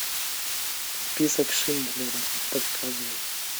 список шиндлера показывай